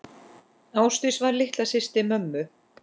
Ásdís var litla systir mömmu.